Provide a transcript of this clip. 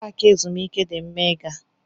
Paaki ezumike di mma ị gaa.